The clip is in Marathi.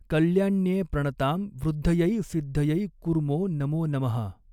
कल्याण्ये प्रणतां वृद्धयै सिद्धयै कुर्मो नमो नमः।